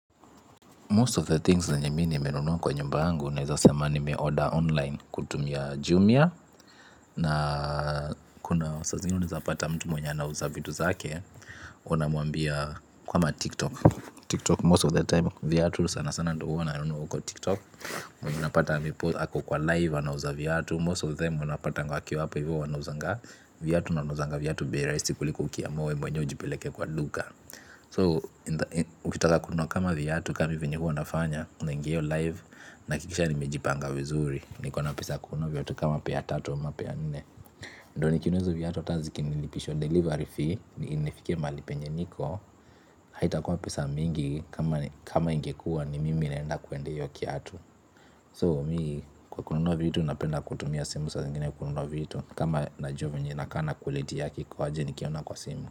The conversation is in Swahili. Most of the things zenye me nimenunua kwa nyumba yangu naweza sema ni me-order online kutumia jumia na kuna saa zingine unaeza pata mtu mwenye anauza vitu zake unamuambia kama tiktok tiktok most of the time vyatu sana sana ndo huwa nanunua huko tiktok unapata mipo ako kwa live anauza vyatu most of them unapatanga wakiwa hapo hivyo wanauzanga vyatu wanauzanga vyatu bei rahisi kuliko ukiamua wee mwenyewe ujipeleke kwa duka So, ukitaka kununua kama vyatu ka me venye huwa nafanya, unaingia hiyo live nahakikisha nimejipanga vizuri. Niko na pesa ya kununua vyatu kama pair tatu ama pair nne. Ndo nikinunua hizo vyatu hata zikinilipisha delivery fee, nifikie mahali penye niko. Haitakua pesa mingi kama ingekua ni mimi naenda kuendea hiyo kyatu So, mii kukununua vitu napenda kutumia simu sa zingine kukununua vitu. Kama najuwa venye inakaa na quality yake iko aje nikiona kwa simu.